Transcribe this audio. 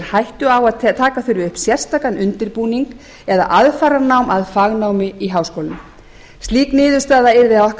hættu á að taka þurfi upp sérstakan undirbúning eða aðfaranám að fagnámi í háskóla slík niðurstaða yrði að okkar